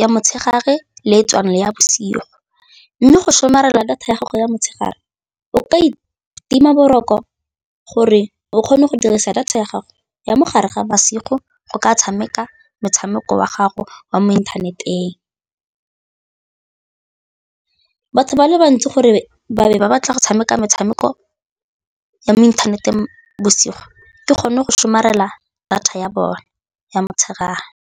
ya motshegare le ya bosigo mme go somarela data ya gago ya motshegare o ka itima boroko gore o kgone go dirisa data ya gago ya mogare ga bosigo go ka tshameka motshameko wa gago wa mo inthaneteng. Batho ba le bantsi gore ba be ba batla go tshameka metshameko ya mo inthaneteng bosigo ke gone go somarela data ya bone ya motshegare.